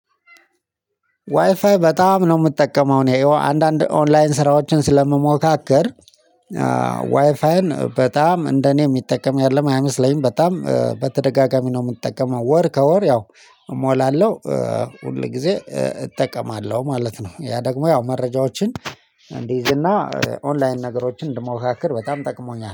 ዋይፋይ በጣም ነው የምጠቀመው እኔ ይኸው አንዳንድ ኦንላይን ስራዎችን ስለምሞካከር። በጣም እንደኔ የሚጠቀም ያለም አይመስለኝም በጣም በተደጋጋሚ ነው የምንጠቀመው። ወር ከወር ያው እሞላለሁ ሁል ጊዜ እጠቀማለሁ ማለት ነው። ያ ደግሞ ያው መረጃዎችን እንዲይዝ እና ኦንላይን ነገሮችን እንድሞካክር በጣም ጠቅሞኛል